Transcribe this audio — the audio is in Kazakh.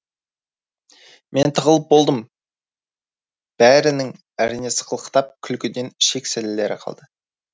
мен тығылып болдым бәрінің әрине сықылықтап күлкіден ішек сілілері қалды